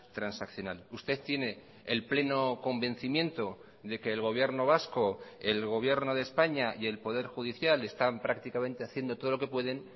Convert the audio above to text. transaccional usted tiene el pleno convencimiento de que el gobierno vasco el gobierno de españa y el poder judicial están prácticamente haciendo todo lo que pueden